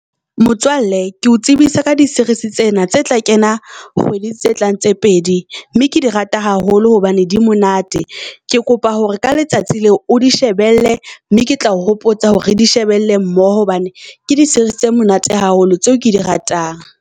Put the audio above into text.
Motswalle ke o tsebisa ka di series tsena tse tla kenang kgwedi tse tlang tse pedi mme ke di rata haholo hobane di monate. Ke kopa hore ka letsatsi leo o di shebelle, mme ke tla o hopotsa hore re di shebelle mmoho. Hobane ke di series tse monate haholo, tseo ke di ratang.